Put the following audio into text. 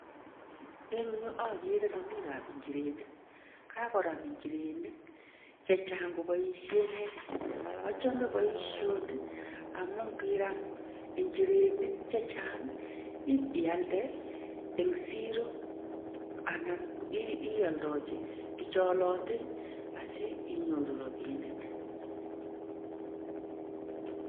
Eng' yu ogere romiik ap njirenik. Kakoram njirenik chechang' koboisien netit. Ochome boisioni, amu ngiram njirenik chechang' ip ialde eng' siro anan ioldoji biik chon olotei asinyoru rabinik.